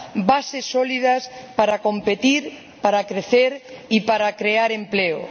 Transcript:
bases sólidas para competir, para crecer y para crear empleo.